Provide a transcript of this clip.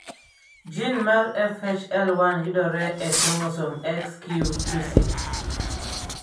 Jin mar FHL1 yudore e kromosom Xq26.